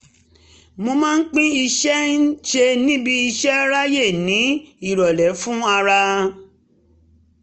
mo máa pín iṣẹ́ ń ṣe níbi iṣẹ́ ráyè ní ìrọ̀lẹ́ fún ara